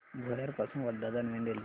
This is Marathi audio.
भुयार पासून वर्धा दरम्यान रेल्वे